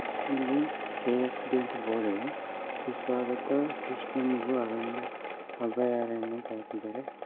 ಇಲ್ಲಿ K F D ಅಂತ board ಇದೆ ಸುಸ್ವಾಗತ ಕೃಷ್ಣಮೃಗ ಅರಣ್ಯ ಅಭಯಾರಣ್ಯ ಅಂತ ಹಾಕಿದಾರೆ.